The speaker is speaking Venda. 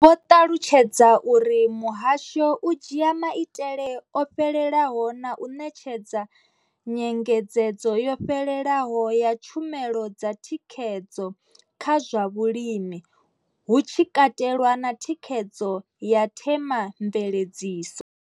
Vho ṱalutshedza uri muhasho u dzhia maitele o fhelelaho na u ṋetshedza nyengedzedzo yo fhelelaho ya tshumelo dza thikhedzo kha zwa vhulimi, hu tshi katelwa na thikhedzo ya themamveledziso.